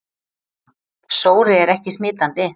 Sóri er ekki smitandi.